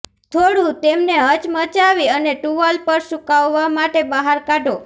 થોડું તેમને હચમચાવી અને ટુવાલ પર સૂકવવા માટે બહાર કાઢો